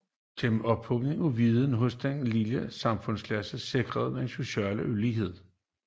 Gennem ophobningen af viden hos en lille samfundsklasse sikres den sociale ulighed